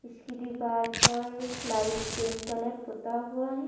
इसकी दीवार पर लाइट पिंक कलर पुता हुआ है।